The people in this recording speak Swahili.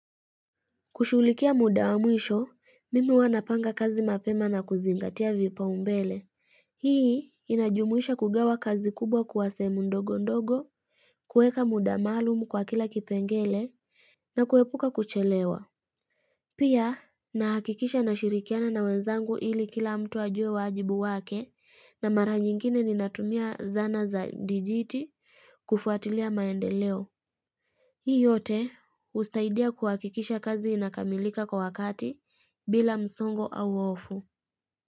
Kushughulikia muda wa mwisho, mimi huwa napanga kazi mapema na kuzingatia vipaumbele. Hii, inajumuisha kugawa kazi kubwa kuwa sehemu ndogo ndogo, kuweka muda maalumu kwa kila kipengele, na kuepuka kuchelewa. Pia, nahakikisha nashirikiana na wenzangu ili kila mtu ajue wajibu wake, na mara nyingine ninatumia zana za dijiti kufuatilia maendeleo. Hii yote husaidia kuhakikisha kazi inakamilika kwa wakati bila msongo au hofu.